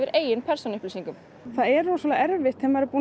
eigin persónuupplýsingar það er rosalega erfitt þegar þú